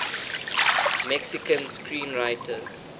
mexican screenwriters